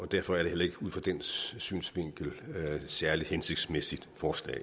derfor er det heller ikke ud fra den synsvinkel et særlig hensigtsmæssigt forslag